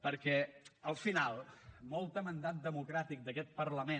perquè al final molt de mandat democràtic d’aquest parlament